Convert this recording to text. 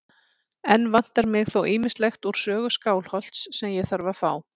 Enn vantar mig þó ýmislegt úr sögu Skálholts sem ég þarf að fá.